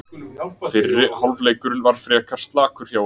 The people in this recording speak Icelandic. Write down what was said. Fyrri hálfleikurinn var frekar slakur hjá okkur.